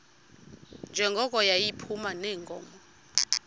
njengoko yayiphuma neenkomo